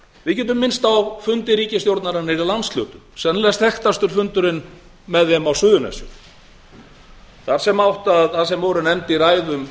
við getum minnst á fundi ríkisstjórnarinnar í landshlutum sennilega er þekktasti fundurinn með þeim á suðurnesjum þar sem voru nefnd í ræðum